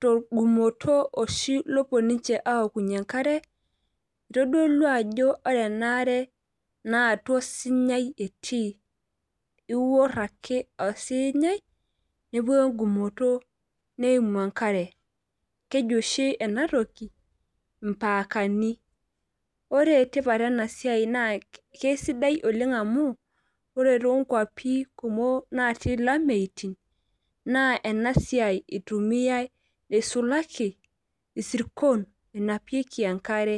torgumoto oshi opuo ninche aokunye enkare, eitodolu ajo ore enaare naa atua osinyaei eti. ior ake osinyai, nepuku egumoto neimu enkare. keji oshi ena toki impaakani. ore tipat ena siai naakeisidai olenga amu ore too nkwapi kumok natii olameyu naa ena toki itumiae isulaki isirkon enapieki enkare.